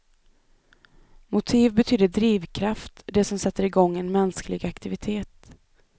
Motiv betyder drivkraft, det som sätter igång en mänsklig aktivitet.